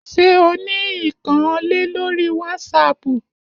Ṣé o ní ìkànnlé lórí wásápù?